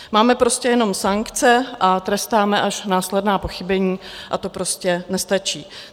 Máme prostě jenom sankce a trestáme až následná pochybení a to prostě nestačí.